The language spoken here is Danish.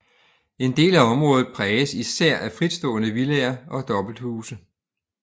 En del af området præges især af fritstående villaer og dobbelthuse